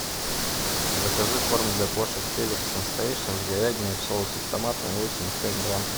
закажи корм для кошек феликс сенсейшен с говядиной в соусе с томатом восемьдесят пять грамм